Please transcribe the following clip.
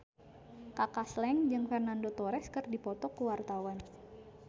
Kaka Slank jeung Fernando Torres keur dipoto ku wartawan